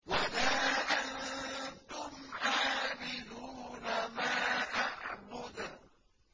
وَلَا أَنتُمْ عَابِدُونَ مَا أَعْبُدُ